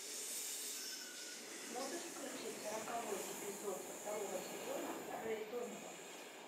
можешь включить сороковой эпизод второго сезона рэй донован